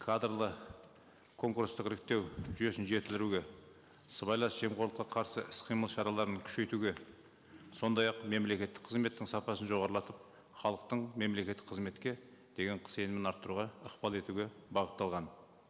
кадрлы конкурстық іріктеу жүйесін жетілдіруге сыбайлас жемқорлыққа қарсы іс қимыл шараларын күшейтуге сондай ақ мемлекеттік қызметтің сапасын жоғарлатып халықтың мемлекеттік қызметке деген сенімін арттыруға ықпал етуге бағытталған